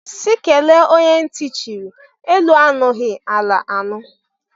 Si kele onye ntị chiri; elu anụghị, ala anụ.